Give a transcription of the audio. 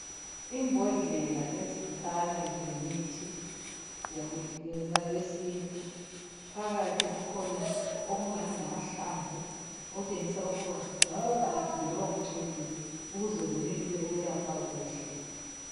Imbhodlela ezikhanya zilemithi yesintu phakathi kukhona okungani ngamahlamvu okutshengisa ukuba kungabe kugigiwe loba kucholiwe ukuze kwenelise ukulapha kuhle